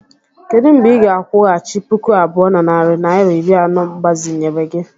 Kedu mgbe ị ga-akwụghachi puku abụọ na narị naịra iri anọ mgbazinyere gi?